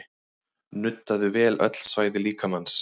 Nuddaðu vel öll svæði líkamans